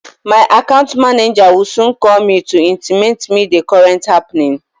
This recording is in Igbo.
My account manager will soon call me to intimate me the recent happening